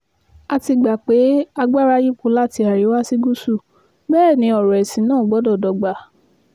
a ti gbà pé kí agbára yípo láti àríwá sí gúúsù bẹ́ẹ̀ ni ọ̀rọ̀ ẹ̀sìn náà gbọ́dọ̀ dọ́gba